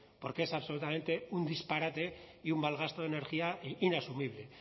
porque es absolutamente un disparate y un mal gasto de energía inasumible